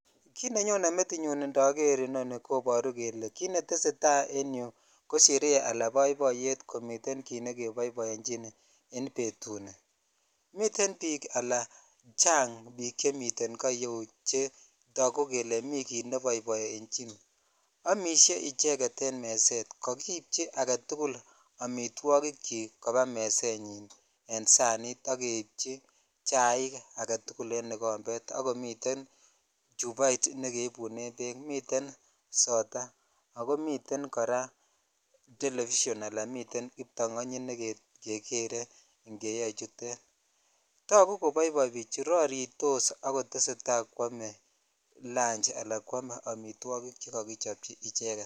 Kit nenyone metinyun itoker inoni koboruu kole kit netesetai en yuu ko Shere ala boiboiyet ala miten kit nekeboiboenchin en betuni miten ala chang chamomile koo iyeu chetoku kele mii kit nebboibonchin amishe icheket en meset kakindecchi aketukul amtwogik chik mezet en sanit ak keibchichaik aketuk en ikombet ak komiten chuboit negeibunen beek ak komiten soda akomiten koraa [cs[television [cs[ala kibtangonyit ne kekeree keyoe chutet togu koboiboi bichuton roritos akotesetai kwome lanchi ala kwome amitwogik chekokichobchi icheket.